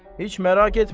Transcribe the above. Heç məraq etmə.